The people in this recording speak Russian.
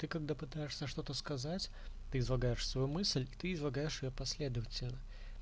ты когда пытаешься что-то сказать ты излагаешь свои мысли ты излагаешь её последовательно